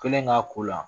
Kelen ka ko la